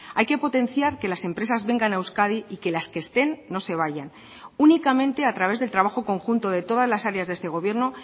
hay que potenciar que las empresas vengan a euskadi y que las que estén no se vayan únicamente a través del trabajo conjunto de todas las áreas de este gobierno